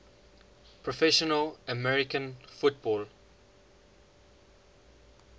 professional american football